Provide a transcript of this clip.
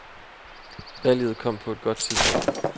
Valget kom på et godt tidspunkt.